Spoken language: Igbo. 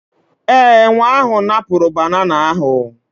Ee, enwe ahụ napụrụ banana ahụ